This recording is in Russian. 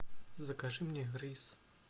закажи мне рис